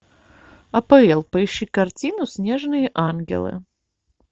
апл поищи картину снежные ангелы